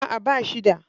A'a, ba shi da.